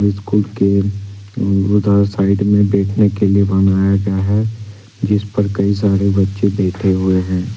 School के side में बैठने के लिए बनाया गया है जिस पर कई सारे बच्चे बैठे हुए हैं।